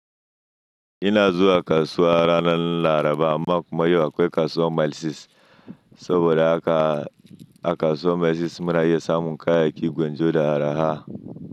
Ina zuwa kasuwa ranar Laraba amma kuma yau akwai kasuwar Milisis saboda a kasuwar Milisis muna yi samun kayay yakin gwanjona da araha.